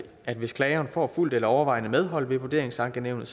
at hvis klageren får fuldt eller overvejende medhold ved vurderingsankenævnet